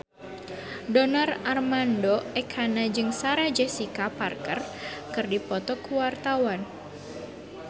Donar Armando Ekana jeung Sarah Jessica Parker keur dipoto ku wartawan